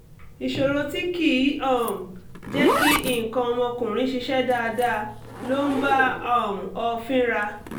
ìṣòro tí kì í um jẹ́ kí nǹkan ọmọkùnrin ṣiṣẹ́ dáadáa ló ń bá um ọ fínra